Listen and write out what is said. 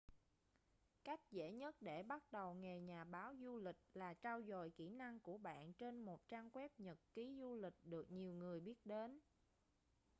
cách dễ nhất để bắt đầu nghề nhà báo du lịch là trau dồi kỹ năng của bạn trên một trang web nhật ký du lịch được nhiều người biết đến